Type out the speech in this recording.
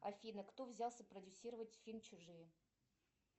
афина кто взялся продюсировать фильм чужие